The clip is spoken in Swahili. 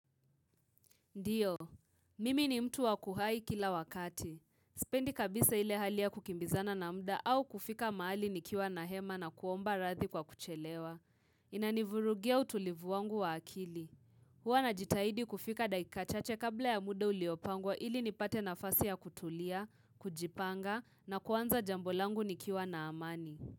Ndiyo, mimi ni mtu wakuhai kila wakati. Spendi kabisa ile hali ya kukimbizana na mda au kufika mahali nikiwa na hema na kuomba radhi kwa kuchelewa. Inanivurugia utulivu wangu wa akili. Huwa na jitaidi kufika daika chache kabla ya muda uliopangwa ili nipate nafasi ya kutulia, kujipanga na kuanza jambo langu nikiwa na amani.